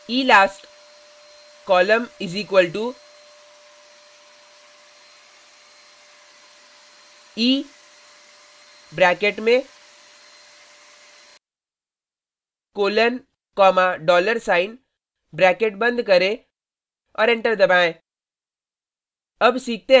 elast col = e bracket में colon comma dollar sign bracket बंद करें और एंटर दबाएं